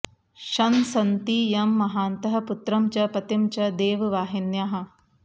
शंसन्ति यं महान्तः पुत्रं च पतिं च देववाहिन्याः